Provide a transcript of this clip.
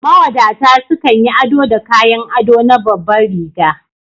Mawadata sukan yi ado da kayan ado na babanriga